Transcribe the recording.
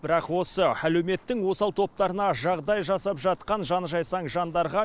бірақ осы әлеуметтің осал топтарына жағдай жасап жатқан жаны жайсаң жандарға